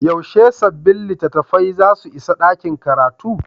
Yaushe sabbin littattafai za su isa ɗakin karatu?